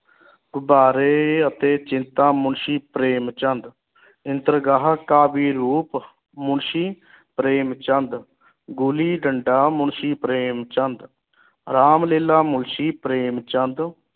ਗੁਬਾਰੇ ਅਹ ਅਤੇ ਚਿੰਤਾ ਮੁਨਸ਼ੀ ਪ੍ਰੇਮ ਚੰਦ ਦਰਗਾਹ ਕਾਫੀ ਰੂਪ ਮੁਨਸ਼ੀ ਪ੍ਰੇਮ ਚੰਦ ਗੁਲੀ ਡੰਡਾ ਮੁਨਸ਼ੀ ਪ੍ਰੇਮ ਚੰਦ ਰਾਮ ਲੇਲਾ ਮੁਨਸ਼ੀ ਪ੍ਰੇਮ ਚੰਦ